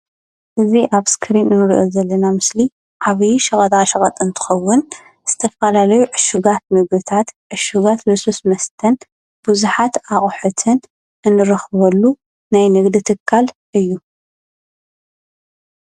እዚ ኣብ እስክሪን ንሪኦ ዘለና ምስሊ ዓብዪ ሸቀጣሸቀጥ እንተከዉን ዝተፈላለዩ ዕሹጋት ምግብታት ዕሹጋት ልስሉስ መስተን ብዙሓት ኣቁሑትን እንረክበሉ ናይ ንግዲ ትካል እዩ